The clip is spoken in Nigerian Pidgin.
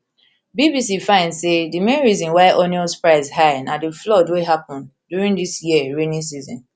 bbc find say di main reason why onions price high na di flood wey happun during dis year rainy season